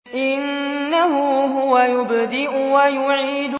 إِنَّهُ هُوَ يُبْدِئُ وَيُعِيدُ